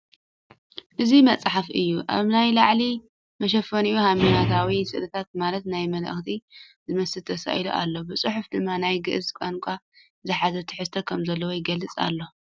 እዚ መፅሓፍ እዩ ኣብ ናይ ላዕሊ መሸፈኒኡ ሓይማኖታዊ ስእልታት ማለት ናይ መልኣካት ዝመስል ተሳኢሉ ኣሎ ብፅሑፍ ድማ ናይ ግእዝ ቛንቛ ዝሓዘ ትሕዝቶ ከምዘለዎ ይገልፅ ኣሎ ።